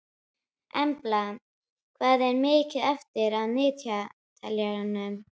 Embla, hvað er mikið eftir af niðurteljaranum?